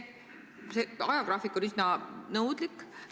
Ajagraafik on üsna nõudlik.